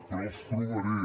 però els trobaré